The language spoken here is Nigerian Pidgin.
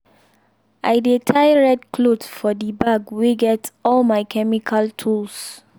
i dey tie red cloth for the bag wey get all my chemical tools.